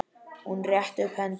Hún rétti upp hendur.